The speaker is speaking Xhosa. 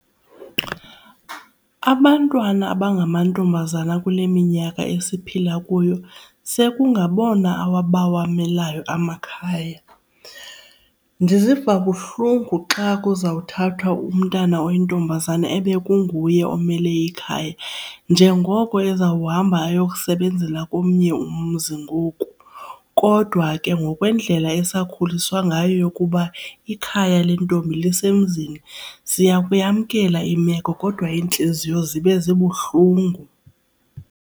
Abantwana abangamantombazana kule minyaka esiphila kuyo sekungabona abawamelayo amakhaya. Ndiziva buhlungu xa kuzawuthathwa umntana oyintombazana ebekungakuye omele ikhaya njengoko ezawuhamba ayokusebenzela komnye umzi ngoku. Kodwa ke ngokwendlela esakhuliswa ngayo yokuba ikhaya lentombi lusemzini siya kuyamkela imeko kodwa iintliziyo zibe zibuhlungu.